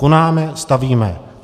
Konáme, stavíme.